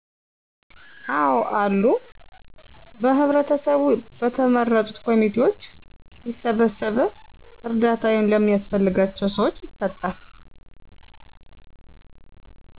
አዎአሉ በህብረተሰቡ በተመረጡት ኮምቴዎች ይሰበሰብ እርዳታ ለሚያስፈልጋቸዉ ሰዎች ይሰጣል